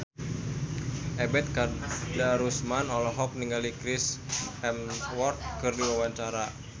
Ebet Kadarusman olohok ningali Chris Hemsworth keur diwawancara